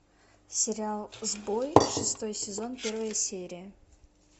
сериал сбой шестой сезон первая серия